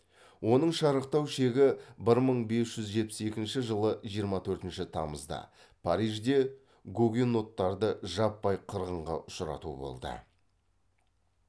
оның шарықтау шегі бір мың бес жүз жетпіс екінші жылы жиырма төртінші тамызда парижде гугеноттарды жаппай қырғынға ұшырату болды